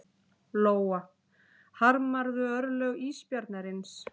Lóa: Harmarðu örlög ísbjarnarins?